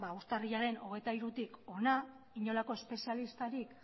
urtarrilaren hogeita hirutik hona inolako espezialistarik